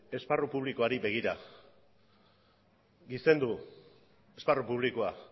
esparru publikoari begira gizendu esparru publikoa